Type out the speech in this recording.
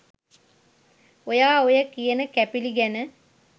ඔයා ඔය කියන කැපිලි ගැන